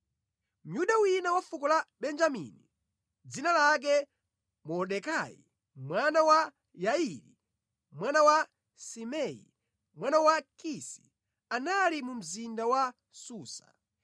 Myuda wina wa fuko la Benjamini, dzina lake Mordekai, mwana wa Yairi, mwana wa Simei, mwana wa Kisi, anali mu mzinda wa Susa.